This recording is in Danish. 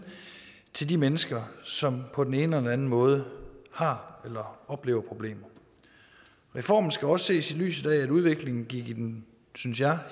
til de mennesker som på den ene eller anden måde har eller oplever problemer reformen skal også ses i lyset af at udviklingen gik i den synes jeg